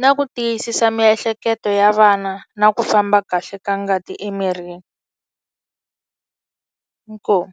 na ku tiyisisa miehleketo ya vana na ku famba kahle ka ngati emirini inkomu.